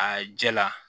A jɛla